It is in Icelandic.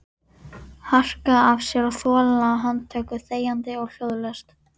Harka af sér og þola handtöku þegjandi og hljóðalaust?